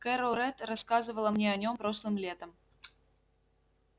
кэро рэтт рассказывала мне о нём прошлым летом